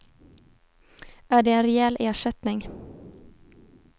Är det en rejäl ersättning?